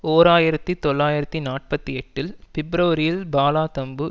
ஓர் ஆயிரத்தி தொள்ளாயிரத்து நாற்பத்தி எட்டில் பிப்பிரவரியில் பாலா தம்பு